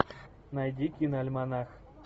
найди киноальманах